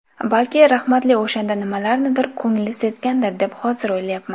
Balki rahmatli o‘shanda nimalarnidir ko‘ngli sezgandir deb hozir o‘ylayapman.